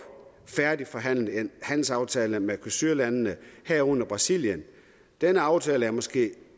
færdigforhandlet en handelsaftale med mercosurlandene herunder brasilien denne aftale er måske den